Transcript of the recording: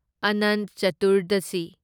Anant Chaturdashi